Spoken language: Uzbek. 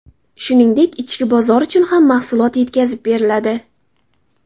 Shuningdek, ichki bozor uchun ham mahsulot yetkazib beriladi.